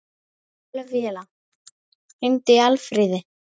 Ófelía, hringdu í Alfríði.